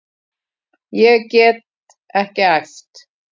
Ég get ekki æft.